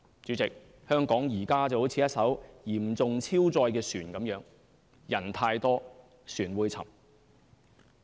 主席，香港現在就如一艘嚴重超載的船，人太多，船會沉。